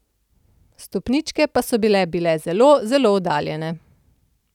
Stopničke pa so bile bile zelo, zelo oddaljene.